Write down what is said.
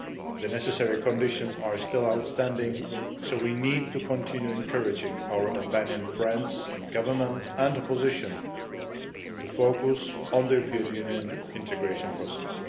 The necessary conditions are still outstanding so we need to continue encouraging our Albanian friends in government and opposition to focus on the European Union integration process.